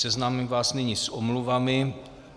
Seznámím vás nyní s omluvami.